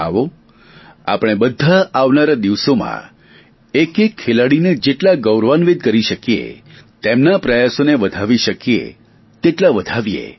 આવો આપણે બધા આવનારા દિવસોમાં એકએક ખેલાડીને જેટલા ગૌરવાન્વિત કરી શકીએ તેમના પ્રયાસોને વધાવી શકીએ તેટલા વધાવીએ